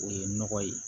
O ye nɔgɔ ye